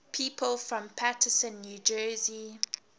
people from paterson new jersey